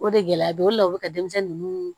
O de gɛlɛya bɛ o de la o bɛ ka denmisɛnnin ninnu